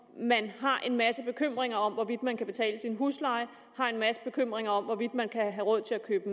man har en masse bekymringer om hvorvidt man kan betale sin husleje har en masse bekymringer om hvorvidt man kan have råd til at købe